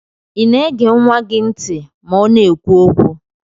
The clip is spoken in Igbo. Ina ege nwa gi nti ma ọna ekwu okwu?